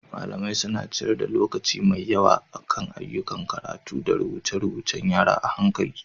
Malamai suna ciyar da lokaci mai yawa akan ayyukan karatu da rubuce-rubuce.ng yara a hankali.